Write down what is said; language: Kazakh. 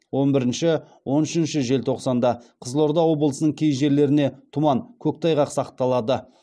он бірінші он үшінші желтоқсанда қызылорда облысының кей жерлеріне тұман көктайғақ сақталады